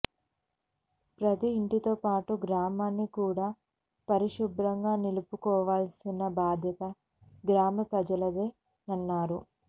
ప్రతీ ఇంటితో పాటు గ్రామాన్ని కూడా పరిశుభ్రంగా నిలుపుకోవాల్సిన బాధ్యత గ్రామ ప్రజలదేనన్నారు